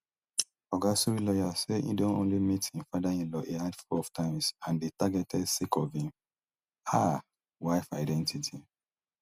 oga suri lawyers say e don only meet im fatherinlaw a handful of times and dey targeted sake of im um wife identity